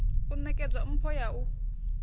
u nekedza mpho ya u